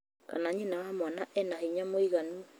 Kana nyina wa mwana ena hinya mũiganu